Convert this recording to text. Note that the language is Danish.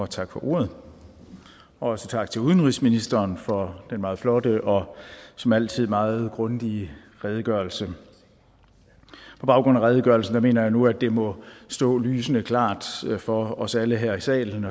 tak for ordet og også tak til udenrigsministeren for den meget flotte og som altid meget grundige redegørelse på baggrund af redegørelsen mener jeg nu at det må stå lysende klart for os alle her i salen